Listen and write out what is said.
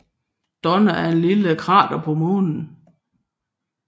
Donna er et lille krater på Månen